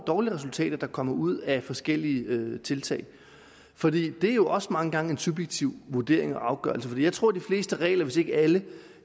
dårlige resultater der kommer ud af forskellige tiltag for det er jo også mange gange en subjektiv vurdering og afgørelse jeg tror de fleste regler hvis ikke alle